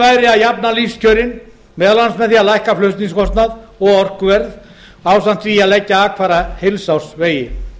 að jafna lífskjörin meðal annars með því að lækka flutningskostnað og orkuverð ásamt því að leggja akfæra heilsársvegi